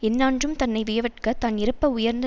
எஞ்ஞான்றும் தன்னை வியவற்க தான் இறப்ப உயர்ந்த